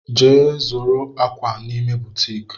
Je zuru akwa n'ime butiiki!